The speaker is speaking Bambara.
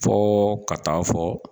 Fɔ ka taa fɔ